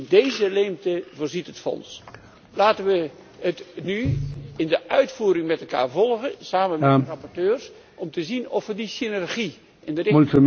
In deze leemte voorziet het fonds. Laten we het nu in de uitvoering met elkaar volgen, samen met de rapporteurs, om te zien of we die synergie in de